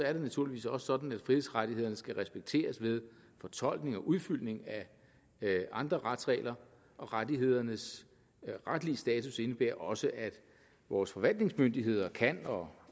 er det naturligvis også sådan at frihedsrettighederne skal respekteres ved fortolkning og udfyldning af andre retsregler og rettighedernes retlige status indebærer også at vores forvaltningsmyndigheder kan og